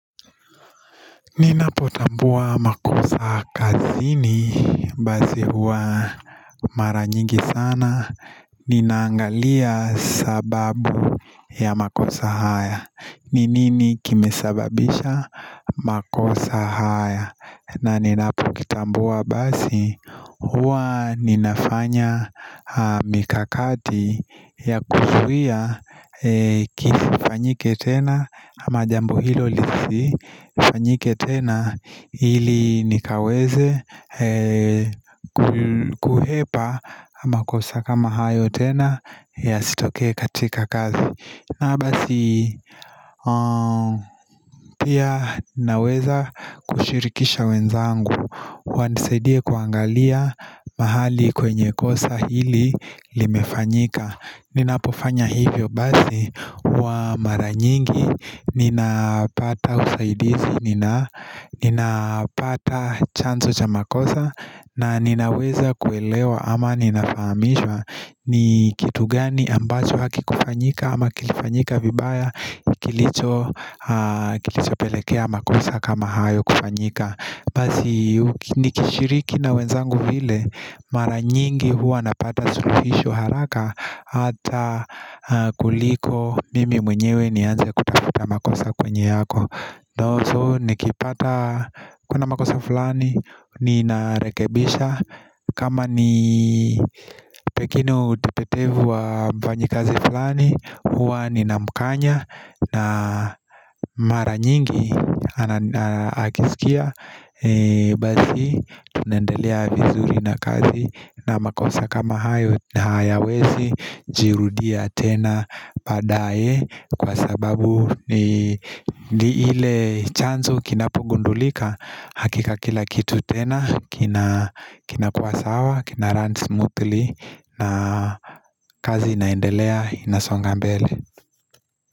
Ninapotambua makosa kazini, basi huwa maranyigi sana, nina angalia sababu ya makosa haya, ni nini kimesababisha makosa haya na ninapokitambua basi huwa ninafanya mikakati ya kuzuia kisi fanyike tena ama jambo hilo lisi fanyike tena ili nikaweze kuhepa amakosa kama hayo tena ya sitokee katika kazi na basi pia naweza kushirikisha wenzangu Wanisaidie kuangalia mahali kwenye kosa hili limefanyika Ninapofanya hivyo basi huwa maranyingi Ninapata usaidizi, ninapata chanzo cha makosa na ninaweza kuelewa ama ninafahamishwa ni kitu gani ambacho haki kufanyika ama kilifanyika vibaya kilicho pelekea makosa kama hayo kufanyika Basi nikishiriki na wenzangu vile maranyingi huwa napata suluhisho haraka Hata kuliko mimi mwenyewe ni anze kutafuta makosa kwenye yako So nikipata kuna makosa fulani ninarekebisha kama ni pengine utepetevu wa mfanyi kazi fulani huwa nina mkanya na mara nyingi akisikia Basi tunaendelea vizuri na kazi na makosa kama hayo hayawezi Jirudia tena baadaye kwa sababu ni ile chanzo kinapugundulika Hakika kila kitu tena kina kuwa sawa kina run smoothly na kazi inaendelea inasonga mbele.